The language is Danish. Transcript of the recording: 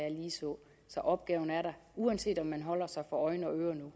så opgaven er der uanset om man holder sig for øjne